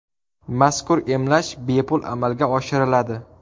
Mazkur emlash bepul amalga oshiriladi.